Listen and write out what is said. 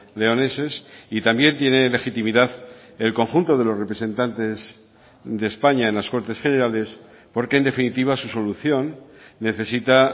leoneses y también tiene legitimidad el conjunto de los representantes de españa en las cortes generales porque en definitiva su solución necesita